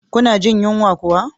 Kuna jin yunwa?